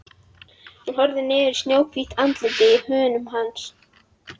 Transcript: Hún horfir niður í snjóhvítt andlitið í höndum hans.